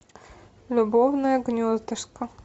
любовное гнездышко